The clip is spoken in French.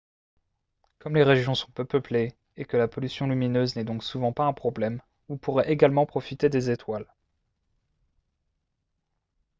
comme les régions sont peu peuplées et que la pollution lumineuse n'est donc souvent pas un problème vous pourrez également profiter des étoiles